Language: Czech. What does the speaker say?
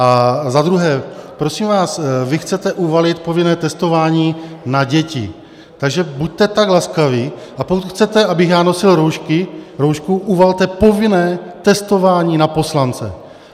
A za druhé, prosím vás, vy chcete uvalit povinné testování na děti, takže buďte tak laskaví, a pokud chcete, abych já nosil roušku, uvalte povinné testování na poslance.